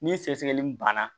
Ni sɛgɛsɛgɛli banna